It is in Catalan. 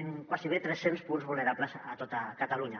en gairebé tres cents punts vulnerables a tot catalunya